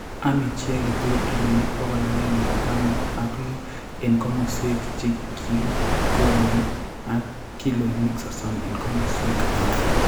amei chi age tugul kiloinik pokol agenge taman ak lo eng' komoswek che kigolei, ak kiloinik sosom eng' komoswek alak.